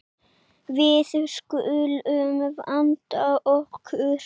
Við skulum vanda okkur.